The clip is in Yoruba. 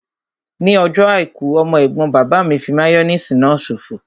Ní ọjọ́ àìkú, ọmọ ẹ̀gbọ́n bàbá mi fí máyóníìsì náà ṣòfò